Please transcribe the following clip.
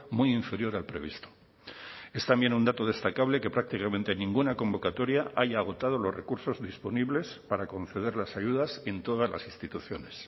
muy inferior al previsto es también un dato destacable que prácticamente ninguna convocatoria haya agotado los recursos disponibles para conceder las ayudas en todas las instituciones